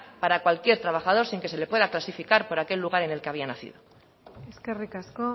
para cualquier trabajador sin que se le pueda clasificar por aquel lugar en el que había nacido eskerrik asko